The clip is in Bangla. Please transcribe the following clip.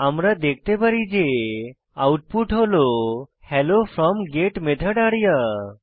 আমরা দেখতে পারি যে আউটপুট হল hello from get method area